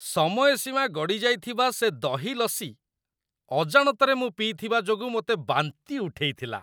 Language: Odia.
ସମୟ ସୀମା ଗଡ଼ିଯାଇଥିବା ସେ ଦହି ଲସି ଅଜାଣତରେ ମୁଁ ପିଇଥିବା ଯୋଗୁଁ ମୋତେ ବାନ୍ତି ଉଠେଇଥିଲା।